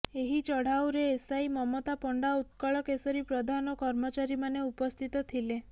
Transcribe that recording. ଏହି ଚଢାଉରେ ଏସଆଇ ମମତା ପଣ୍ଡା ଉତ୍କଳ କେଶରୀ ପ୍ରଧାନ ଓ କର୍ମଚାରୀମାନେ ଉପସ୍ଥିତ ଥିଲେ